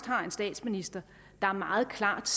har en statsminister der meget klart